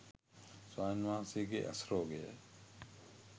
ස්වාමීන් වහන්සේගේ ඇස් රෝගය